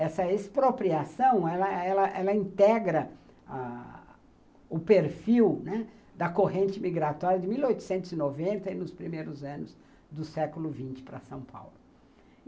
Essa expropriação, ela ela ela ela integra o perfil, né, da corrente migratória de mil oitocentos e noventa e nos primeiros anos do século vinte para São Paulo.